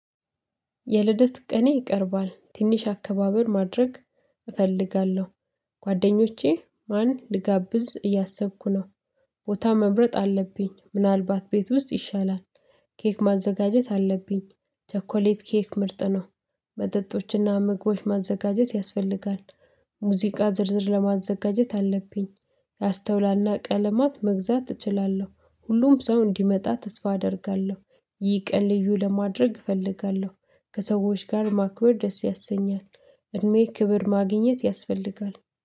የልደት ቀኔ ይቀርባል ትንሽ አቀባበል ማድረግ እፈልጋለሁ ከጓደኞቼ ማንን ልጋብዝ እያሰብኩ ነው። ቦታ መምረጥ አለብኝ ምናልባት ቤት ውስጥ ይሻላል። ኬክ ማዘጋጀት አለብኝ ቸኮሌት ኬክ ምርጥ ነው። መጠጦችና ምግቦች ማዘጋጀት ያስፈልጋል። ሙዚቃ ዝርዝር ማዘጋጀት አለብኝ። አስተውላና ቀለማት መግዛት እችላለሁ ሁሉም ሰው እንዲመጣ ተስፋ አደርጋለሁ። ይህን ቀን ልዩ ማድረግ እፈልጋለሁ። ከሰዎች ጋር ማክበር ደስ ያሰኛል። እድሜ ክብር ማግኘት ያስፈልጋል